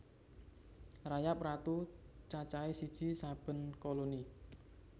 Rayap ratu cacahé siji saben koloni